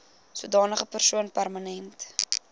sodanige persoon permanent